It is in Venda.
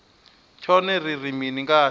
tshone ri ri mini ngatsho